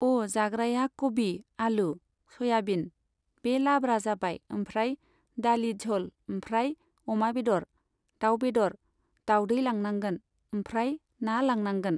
ओ जाग्राया कबि, आलु, सयाबिन बे लाब्रा जाबाय ओमफ्राय दालि झल ओमफ्राय अमा बेदर, दाउ बेदर, दावदै लानांगोन ओमफ्राय ना लानांगोन।